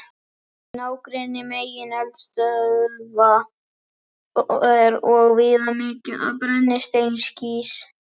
Í nágrenni megineldstöðva er og víða mikið um brennisteinskís.